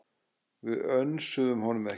Við önsuðum honum ekki.